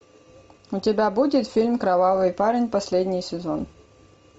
у тебя будет фильм кровавый парень последний сезон